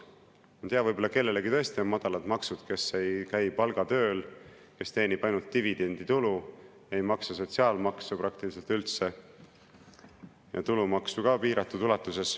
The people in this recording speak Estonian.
Ma ei tea, võib-olla kellelgi tõesti on madalad maksud, kes ei käi palgatööl, kes teenib ainult dividenditulu, ei maksa sotsiaalmaksu praktiliselt üldse, maksab tulumaksu piiratud ulatuses.